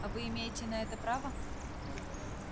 а вы имеете на это право